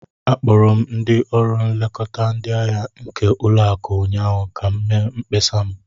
Akpọrọ m ndị ọrụ nlekọta ndị ahịa nke ụlọakụ ụnyaahụ ka m mee mkpesa m.